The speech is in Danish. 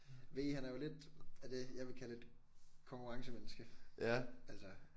V han er jo lidt af det jeg vil kalde et konkurrencemenneske altså